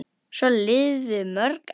Svo liðu mörg ár.